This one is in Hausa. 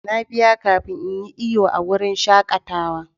Na biya kafin in yi iyo a wurin shakatawa.